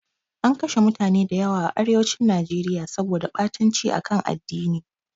An kashe mutane da yawa a arewacin Najeriya saboda ɓatanci a kan addini.